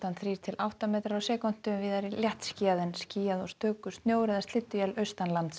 þrír til átta metrar á sekúndu víða léttskýjað en skýjað og stöku snjór eða slydduél